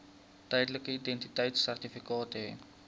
tydelike identiteitsertifikaat hê